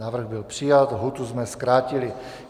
Návrh byl přijat. Lhůtu jsme zkrátili.